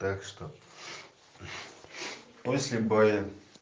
так что после боя